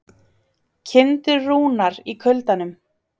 Kindur rúnar í kuldanum